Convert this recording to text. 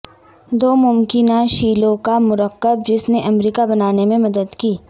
دو ممکنہ شیلیوں کا مرکب جس نے امریکہ بنانے میں مدد کی